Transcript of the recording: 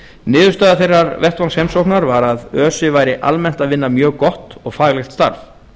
niðurstaða þeirrar vettvangsheimsóknar var að öse væri almennt að vinna mjög gott og faglegt starf